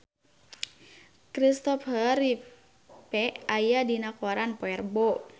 Kristopher Reeve aya dina koran poe Rebo